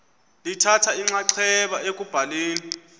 lithatha inxaxheba ekubhaleni